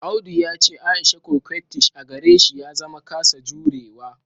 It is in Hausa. Audu ya ce Aisha coquettish a gare shi ya zama kasa jurewa